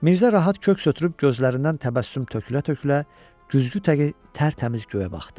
Mirzə rahat köks ötürüb gözlərindən təbəssüm tökülə-tökülə, güzgü təki tərtəmiz göyə baxdı.